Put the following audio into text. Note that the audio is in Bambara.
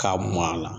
K'a mɔn a la